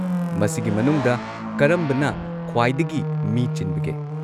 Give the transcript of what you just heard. ꯃꯁꯤꯒꯤ ꯃꯅꯨꯡꯗ ꯀꯔꯝꯕꯅ ꯈ꯭ꯋꯥꯏꯗꯒꯤ ꯃꯤ ꯆꯤꯟꯕꯒꯦ?